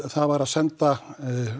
það var að senda